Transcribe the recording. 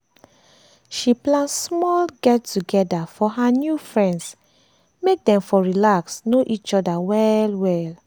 she plan small get together for her new friends make dem for relax know each other well well